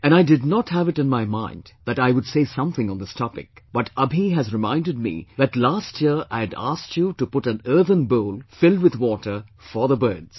And I did not have it in my mind that I would say something on this topic, but Abhi has reminded me that last year I had asked you to put an earthen bowl filled with water for the birds